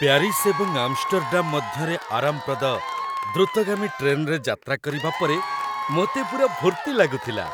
Paris ଏବଂ Amsterdam ମଧ୍ୟରେ ଆରାମପ୍ରଦ, ଦ୍ରୁତଗାମୀ ଟ୍ରେନରେ ଯାତ୍ରା କରିବା ପରେ ମୋତେ ପୂରା ଫୁର୍ତ୍ତି ଲାଗୁଥିଲା।